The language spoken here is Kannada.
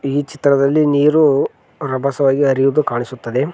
ಈ ಚಿತ್ರದಲ್ಲಿ ನೀರು ರಭಸವಾಗಿ ಹರಿಯುವುದು ಕಾಣಿಸುತ್ತದೆ.